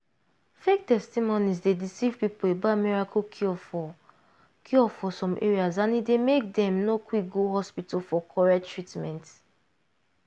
fake testimonies dey deceive people about miracle cure for cure for some area and e dey make dem no quick go hospital for correct treatment.